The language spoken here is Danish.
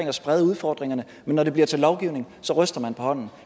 at sprede udfordringerne men når det bliver til lovgivning ryster man på hånden